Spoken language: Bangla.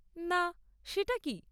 না, সেটা কী?